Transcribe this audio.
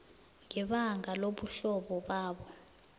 ngebanga lobuhlobo babo